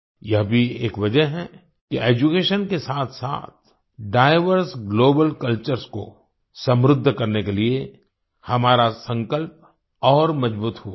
यह भी एक वजह है कि एड्यूकेशन के साथसाथ डाइवर्स ग्लोबल कल्चर्स को समृद्ध करने के लिये हमारा संकल्प और मजबूत हुआ है